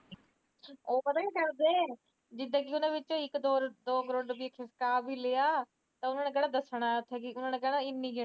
ਉਹ ਪਤਾ ਕਿਆ ਕਰਦੇ ਜਿਦਾ ਉਹਨਾਂ ਵਿਚੋਂ ਇੱਕ ਦੋ ਕਰੋੜ ਰੁਪੀਆਂ ਲੁਕਾ ਵੀ ਲਿਆ ਤਾ ਉਹਨਾਂ ਨੇ ਕਿਹੜਾ ਦੱਸਣਾ ਤਾ ਉਹਨਾਂ ਨੇ ਕਹਿਣਾ ਇਨੇ ਨਿਕਲੇ